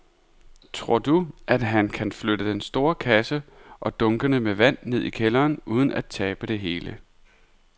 Tror du, at han kan flytte den store kasse og dunkene med vand ned i kælderen uden at tabe det hele?